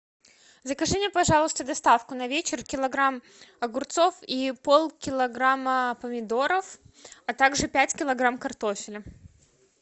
закажи мне пожалуйста доставку на вечер килограмм огурцов и полкилограмма помидоров а также пять килограммов картофеля